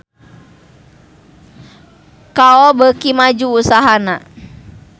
Kao beuki maju usahana